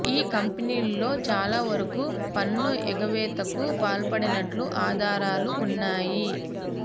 ఈ కంపెనీల్లో చాలా వరకు పన్ను ఎగవేతకు పాల్పడినట్లు ఆధారాలు ఉన్నాయి